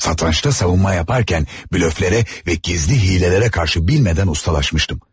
Satrançda savunma yaparken blöflərə və gizli hilələrə qarşı bilmədən ustalaşmıştım.